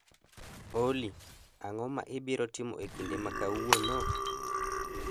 olly, ang'o ma ibiro timo e kinde ma kawuono?